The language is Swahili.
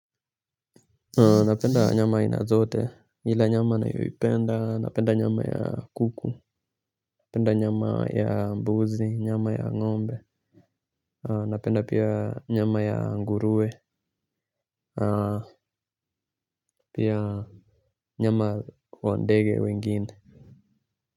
Napenda nyama aina zote ila nyama naipenda napenda nyama ya kuku. Napenda nyama ya mbuzi nyama ya ngombe napenda pia nyama ya nguruwe pia nyama wa ndege wengine.